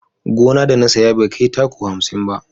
Gona da na saya bai kai taku hamsin ba